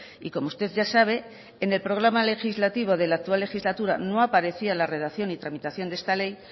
y como usted ya sabe en el programa legislativo de la actual legislatura no aparecía la redacción y tramitación de esta ley